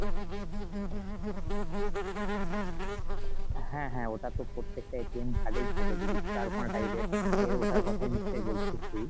হ্যাঁ হ্যাঁ ওটাতো প্রত্যেকটা card এই থাকে জিনিস টা চারকোনা type এর, ওটার কথাই নিশ্চই বলছিস তুই ?